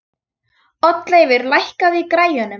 Oddleifur, lækkaðu í græjunum.